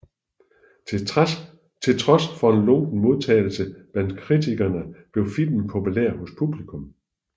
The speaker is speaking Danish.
Til trods for en lunken modtagelse blandt kritikerne blev filmen populær hos publikum